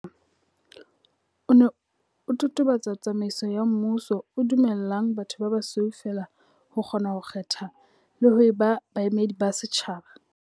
O ne o totobatsa tsamaiso ya mmuso, o dumellang batho ba basweu feela ho kgona ho kgetha le ho eba baemedi ba setjhaba.